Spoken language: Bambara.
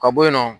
Ka bɔ yen nɔ